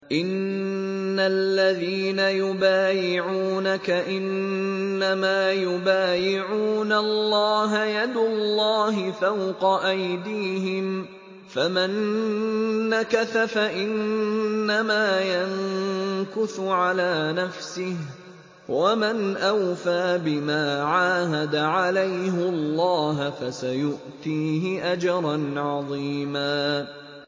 إِنَّ الَّذِينَ يُبَايِعُونَكَ إِنَّمَا يُبَايِعُونَ اللَّهَ يَدُ اللَّهِ فَوْقَ أَيْدِيهِمْ ۚ فَمَن نَّكَثَ فَإِنَّمَا يَنكُثُ عَلَىٰ نَفْسِهِ ۖ وَمَنْ أَوْفَىٰ بِمَا عَاهَدَ عَلَيْهُ اللَّهَ فَسَيُؤْتِيهِ أَجْرًا عَظِيمًا